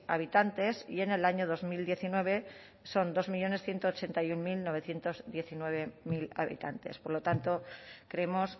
habitantes y en el año dos mil diecinueve son dos millónes ciento ochenta y uno mil novecientos diecinueve habitantes por lo tanto creemos